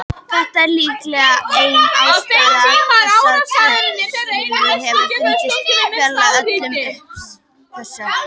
Þetta er líklega ein ástæða þess að kvikasilfur hefur fundist fjarri öllum uppsprettum þess.